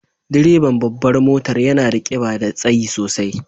Direban babbar motar yana da kiba da tsayi sosai.